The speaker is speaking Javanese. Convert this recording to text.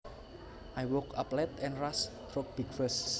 I woke up late and rushed through breakfast